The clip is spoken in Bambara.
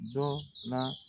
Dɔ la.